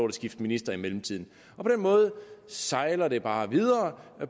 at skifte minister i mellemtiden på den måde sejler det bare videre